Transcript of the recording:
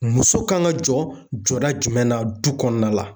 Muso kan ka jɔ jɔda jumɛn na du kɔnɔna la.